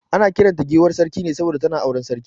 Ana kiran ta giwar Sarki ne saboda tana auren sarki.